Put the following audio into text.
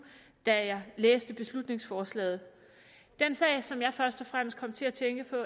da jeg læste beslutningsforslaget den sag som jeg først og fremmest kom til at tænke på